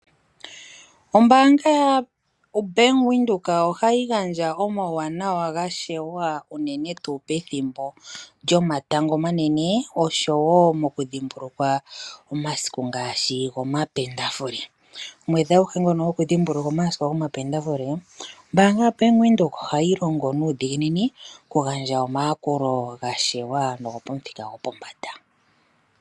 Ombaanga yaBank Windhoek oha yi gandja omauwanawa gashewa unene tuu pethimbo lyomatango omanene osho woo okudhimbulukwa omasiku ngaashi lyomapendafule. Omwedhi aguhe ngono goku dhimbulukwa omasiku gomapendafule, ombaanga yaBank Windhoek oha yilongo nuudhiginini okugandja omayakulo gashewa nogo pomuthika gwo pombanda.